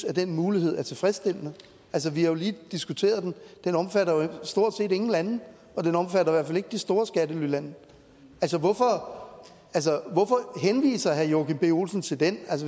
at den mulighed er tilfredsstillende altså vi har jo lige diskuteret den den omfatter jo stort set ingen lande og den omfatter i hvert fald ikke de store skattelylande altså hvorfor henviser herre joachim b olsen til den